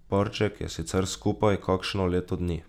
Parček je sicer skupaj kakšno leto dni.